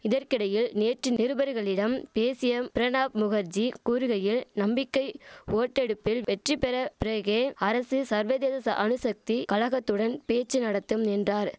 இதற்கிடையில் நேற்று நிருபர்களிடம் பேசிய பிரணாப் முகர்ஜி கூறுகையில் நம்பிக்கை ஓட்டெடுப்பில் வெற்றி பெற பிறகே அரசு சர்வதேச சா அணுசக்தி கழகத்துடன் பேச்சு நடத்தும் என்றார்